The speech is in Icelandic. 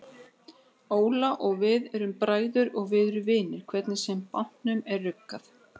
Óla og við erum bræður og við erum vinir hvernig sem bátnum er ruggað.